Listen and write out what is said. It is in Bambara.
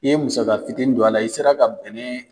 N'i ye musaga fitiini don a la, i sera ka bɛnɛ